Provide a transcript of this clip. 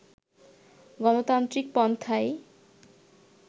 গণতান্ত্রিক পন্থাই